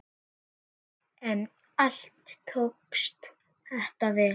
En allt tókst þetta vel.